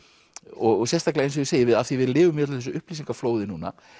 og sérstaklega eins og ég segi af því við lifum í þessum upplýsingaflóði núna